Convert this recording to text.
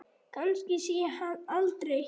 Kannski sé ég hann aldrei.